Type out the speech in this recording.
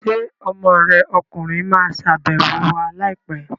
Ṣé ọmọ rẹ ọkùnrin ma wá ṣàbẹ̀wọ̀ wa láìpẹ́ l?